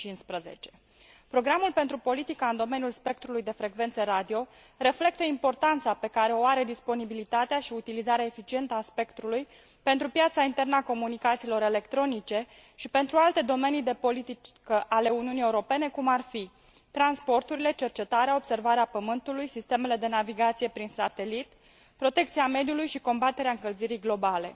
2015. Programul pentru politica în domeniul spectrului de frecvențe radio reflectă importanța pe care o au disponibilitatea și utilizarea eficientă a spectrului pentru piața internă a comunicațiilor electronice și pentru alte domenii de politică ale Uniunii Europene, cum ar fi transporturile, cercetarea, observarea Pământului, sistemele de navigație prin satelit, protecția mediului și combaterea încălzirii globale.